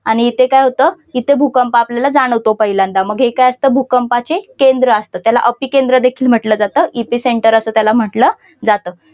आणि इथे काय होतं इथे भूकंप आपल्याला जाणवतो पहिल्यांदा मग हे काय असतं भूकंपाची केंद्र असतं त्याला अपिकेंद्र देखील म्हटलं जातं. एपिसेंटर असे त्याला म्हटलं जातं.